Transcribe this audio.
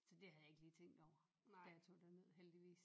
Så det havde jeg ikke lige tænkt over da jeg tog derned heldigvis